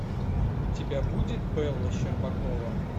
у тебя будет бэла щербакова